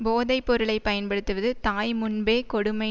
போதை பொருளை பயன்படுத்துவது தாய் முன்பே கொடுமை